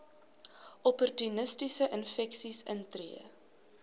opportunistiese infeksies intree